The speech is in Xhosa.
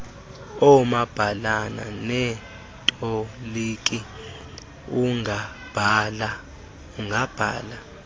oomabhalana neetoliki ungabhala